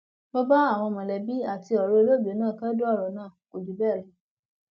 mo bá àwọn mọlẹbí àti ọrẹ olóògbé náà kẹdùn ọrọ náà kò jù bẹẹ lọ